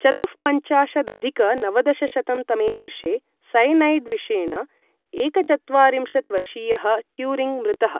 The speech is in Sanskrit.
चतुःपञ्चाशदधिक नवदशशतं तमे वर्षे सयनैड् विषेण एकचत्वारिंशत् वर्षीयः ट्युरिङ्ग् मृतः।